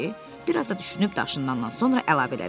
biraz da düşünüb daşınandan sonra əlavə elədim.